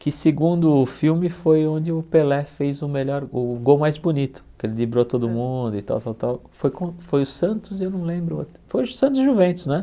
que segundo o filme foi onde o Pelé fez o melhor gol, o gol mais bonito, que ele driblou todo mundo e tal tal tal, foi com foi o Santos, e eu não lembro o outro, foi o Santos Juventus, né?